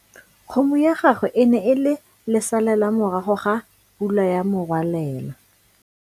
Kgomo ya gagwe e ne e le lesalela morago ga pula ya morwalela.